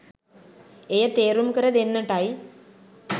එය තේරුම් කර දෙන්නටයි